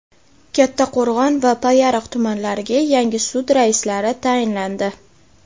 Kattaqo‘rg‘on va Payariq tumanlariga yangi sud raislari tayinlandi.